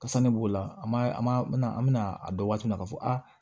Kasa ne b'o la ma an bɛna a dɔn waati min na k'a fɔ aa